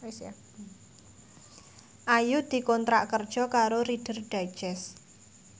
Ayu dikontrak kerja karo Reader Digest